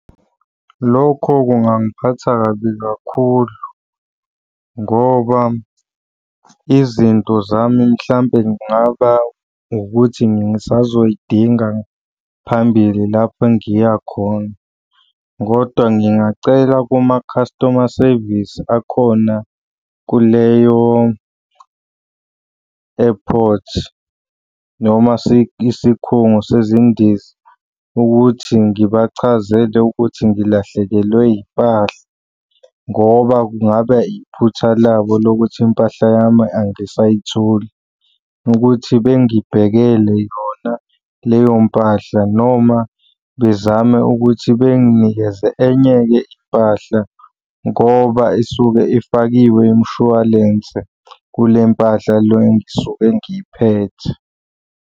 Lokho kungangiphatha kabi kakhulu, ngoba izinto zami mhlampe kungaba ukuthi ngisazoy'dinga phambili lapho engiya khona, kodwa ngingacela kuma-customer service akhona kuleyo airport noma isikhungo sezindiza, ukuthi ngibachazele ukuthi ngilahlekelwe yimpahla ngoba kungaba iphutha labo lokuthi impahla yami angisayitholi, ukuthi bengibhekele yona leyo mpahla noma bezame ukuthi benginikeze enye-ke impahla ngoba isuke ifakiwe imishwalense kule mpahla le engisuke ngiphethe.